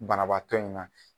Banabaatɔ in na.